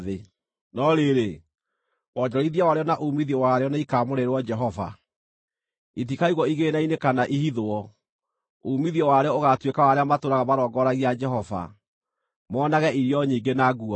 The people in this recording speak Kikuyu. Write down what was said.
No rĩrĩ, wonjorithia warĩo na uumithio warĩo nĩikamũrĩrwo Jehova; itikaigwo igĩĩna-inĩ kana ihithwo. Uumithio warĩo ũgaatuĩka wa arĩa matũũraga marongoragia Jehova, moonage irio nyingĩ na nguo njega.